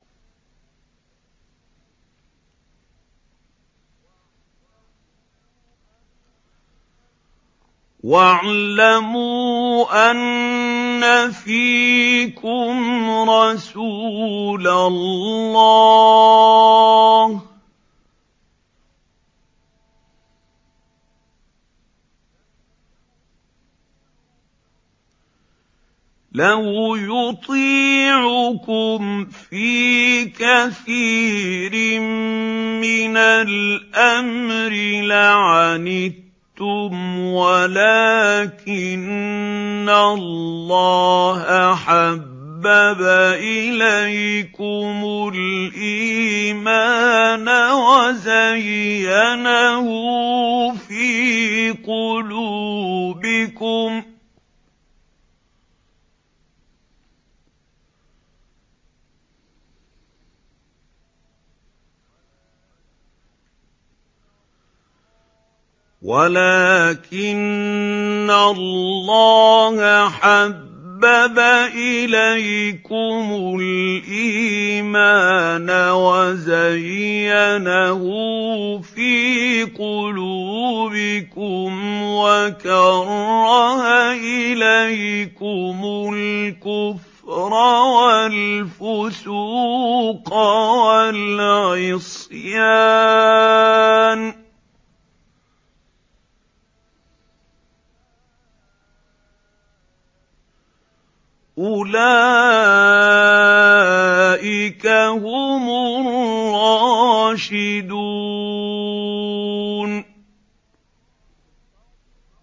وَاعْلَمُوا أَنَّ فِيكُمْ رَسُولَ اللَّهِ ۚ لَوْ يُطِيعُكُمْ فِي كَثِيرٍ مِّنَ الْأَمْرِ لَعَنِتُّمْ وَلَٰكِنَّ اللَّهَ حَبَّبَ إِلَيْكُمُ الْإِيمَانَ وَزَيَّنَهُ فِي قُلُوبِكُمْ وَكَرَّهَ إِلَيْكُمُ الْكُفْرَ وَالْفُسُوقَ وَالْعِصْيَانَ ۚ أُولَٰئِكَ هُمُ الرَّاشِدُونَ